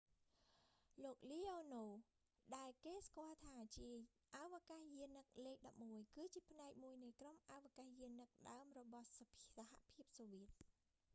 លោក leonov លេអូនូវ ដែលគេស្គាល់ថាជាអវកាសយានិកលេខ11 គឺជាផ្នែកមួយនៃក្រុមអវកាសយានិកដើមរបស់សហភាពសូវៀត